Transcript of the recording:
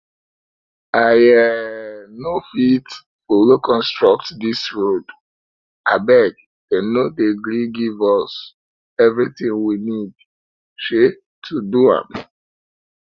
i um no fit follow construct dis road abeg dem no dey gree give us everything we need um to do am